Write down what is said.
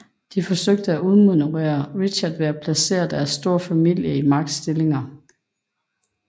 De forsøgte at udmanøvrere Richard ved at placere deres store familie i magtstillinger